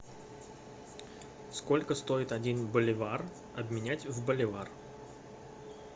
сколько стоит один боливар обменять в боливар